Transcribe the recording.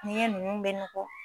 N'i ye ninnu bɛ nɔgɔ